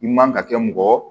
I man ka kɛ mɔgɔ